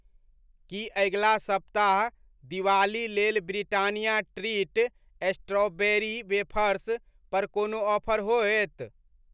की अगिला सप्ताह दिवाली लेल ब्रिटानिया ट्रीट स्ट्रॉबेरी वेफर्स पर कोनो ऑफर होयत?